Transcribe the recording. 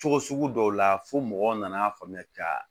Cogo sugu dɔw la fo mɔgɔw nana faamuya ka